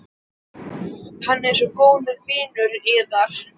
Hann er svo góður vinur yðar.